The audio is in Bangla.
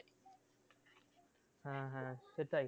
হ্যাঁ হ্যাঁ সেটাই